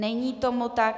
Není tomu tak.